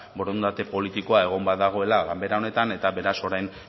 borondate politikoa egon badagoela ganbera honetan eta beraz orain